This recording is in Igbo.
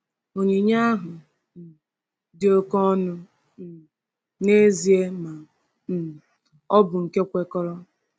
Onyinye ahụ um dị oke ọnụ um n’ezie, ma um ọ bụ nke kwekọrọ.